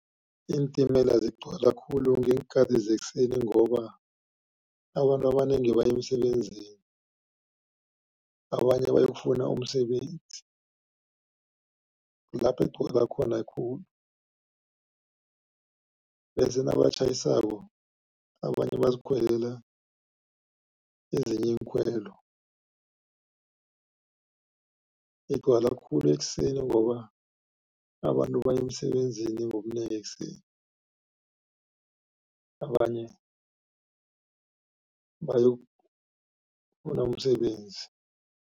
Iintimela zigcwala khulu ngeenkhati zekuseni, ngoba abantu abanengi baya emsebenzini, abanye bayokufuna umsebenzi kulapha ekugcwala khona khulu. Bese nabatjhayisako abanye bazikhwelela ezinye iinkhwelo. Igcwala khulu ekuseni, ngoba abantu baya emsebenzini ngobunengi ekuseni, abanye bayokufuna umsebenzi.